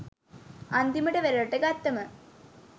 අන්තිමට වෙරලට ගත්තම